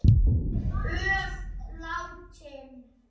Öll látin.